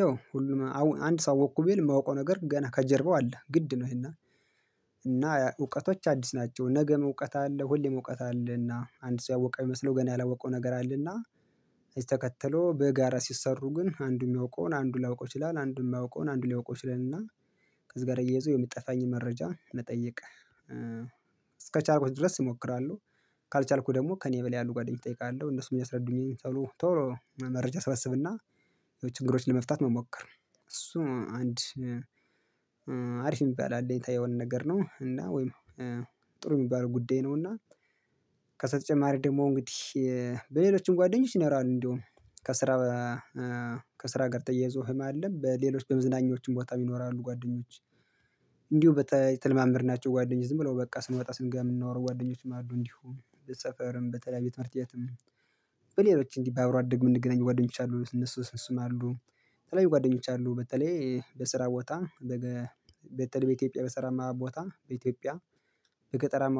ያው ሁሉም አንድ ሰው ወቅኩ ብዬ የማውቀው ነገር ገና ከጀርባው አለ ግድ ነው ይሄና እና እውቀቶች አዲስ ናቸው ነገም እውቀት አለ ሁሌም እውቀት አለና አንድ ሰው ያወቀ የሚመስለው ገና ያላወቀው ነገር አለና ከዚ ተከትለው በጋራ ሲሰሩ ግን አንዱ የሚያውቀውን አንዱ ላያውቀው ይላል አንዱ የማያውቀውን አንድ ሊያውቀው ይችላል እና ከዚህ ጋር እየይዞ የምትጠፋኝ መረጃ ልጠይቅ እስከቻልኩት ድረስ እሞክራለሁ ካልቻልኩት ደግሞ ከእኔ በላይ ያሉ ጓደኞች እጠይቃለሁ እነሱን የሚያስረዱኝ ቶሎ መረጃ ስብስብና የችግሮችን ለመፍታት መሞከር እሱ አንድ አሪፍ የሚባል አለ የታየውን ነገር ነው እና ወይም ጥሩ የሚባለው ጉዳይ ነው እና ከዛ በተጨማሪ ደግሞ እንግዲህ በሌሎችም ጓደኞች ይኖራሉ እንዲሁም ከስራ ከስራ ጋር ተያይዞም አለ በሌሎች በመዝናኞችም ቦታ ይኖራሉ ጓደኞች እንዲሁ በተለማመድናቸው ጓደኞች ዝም ብለው በቃ ስንወጣ ስንገምናወሩ ጓደኞች ማሉ እንዲሁ ስንት ሰፈርም በተለያየ ትምህርት ቤትም በሌሎችም እንዲህ ባብሮ አደግ የምንገኘው ጓደኞች አሉ እነሱ እነሱም አሉ የተለያዩ ጓደኞች አሉ በተለይ በስራ ቦታ በተለይ በኢትዮጵያ በስራማ ቦታ በኢትዮጵያ በገጠራማ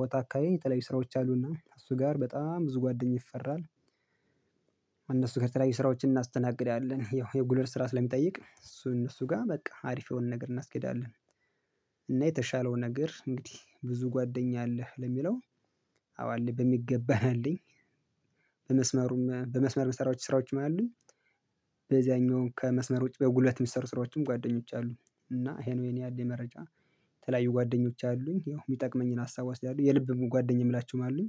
ቦታ አካባቢ የተለዩ ስራዎች አሉና እሱ ጋር በጣም ብዙ ጓደኛ ይፈራል። እነሱ ከተለያዩ ስራዎችን እናስተናግድ ያለን ያው የጉለል ስራ ስለሚጠይቅ እሱ እነሱ ጋር በቃ አሪፍ የሆነ ነገር እናስኬዳለን። እና የተሻለውን ነገር እንግዲህ ብዙ ጓደኛ አለህ ለሚለው አዎ አለኝ በሚገባ ነው ያለኝ በመስመሩም በመስመር መሰራቸው ስራዎችም አሉኝ በዚያኛው ከመስመር ውጪ በጉለት መስመር ስራዎችም ጓደኞች አሉ እና ይሄ ነው እኔ ያለኝ መረጃ። ተለያዩ ጓደኞች አሉኝ ያው የሚጠቅመኝን ሀሳብ ወስዳለሁ የልብም ጓደኛም ላችሁም አሉኝ።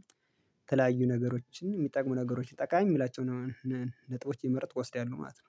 የተለያዩ ነገሮችን የሚጠቅሙ ነገሮችን ይጠቃሚ የምላቸውን ነጥቦች ይመርጥ ወስደያሉ ማለት ነው።